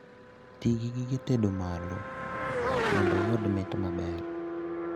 Tii gi gige tedo malo mondo iyud mit maber